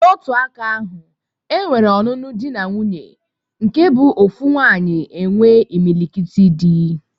N'otu aka ahụ, e nwere ọnụnụ di na nwuńye nke bụ ofu nwannyi enwe imilikiti di.